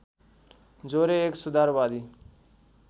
जोरे एक सुधारवादी